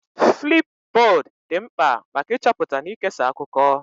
Flipbod dị mkpa maka ịchọpụta na ikesa akụkọ.